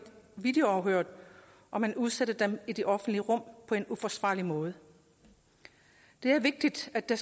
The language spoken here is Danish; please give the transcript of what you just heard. videoafhørt og man udsætter dem i det offentlige rum på en uforsvarlig måde det er vigtigt at der